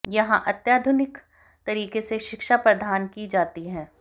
यहां अत्याधुनिक तरीके से शिक्षा प्रदान की जाती है